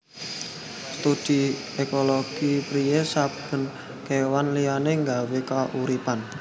Studi ékologi priyé saben kéwan liyané nggawé kauripan